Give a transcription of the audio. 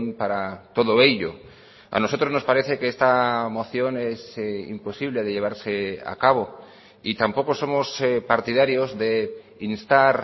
para todo ello a nosotros nos parece que esta moción es imposible de llevarse a cabo y tampoco somos partidarios de instar